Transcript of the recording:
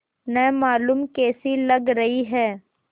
न मालूम कैसी लग रही हैं